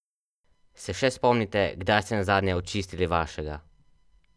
Se še spomnite, kdaj ste nazadnje očistili vašega?